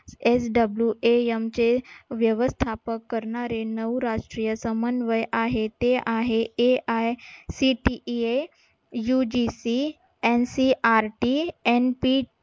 swam चे व्यवस्थापक ककरणारे नऊ राष्ट्रीय समन्वय आहे ते आहे AICTEUGCNCERTNP